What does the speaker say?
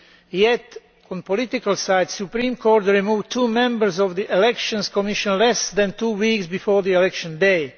Yet, on the political side, the Supreme Court removed two members of the elections commission less than two weeks before the election day.